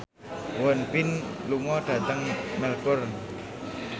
Won Bin lunga dhateng Melbourne